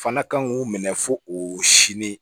Fana kan k'u minɛ fo o sini